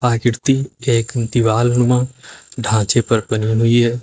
आकृति एक दीवाल नुमा ढांचे पर बनी हुई है।